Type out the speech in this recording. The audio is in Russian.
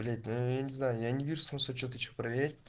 блять ну я не знаю я не вижу смысла что-то ещё проверять